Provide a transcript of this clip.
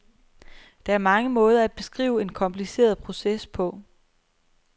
Der er mange måder at beskrive en kompliceret proces på.